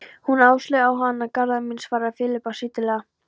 Hún Áslaug á hana, Garðar minn, svaraði Filippía stillilega.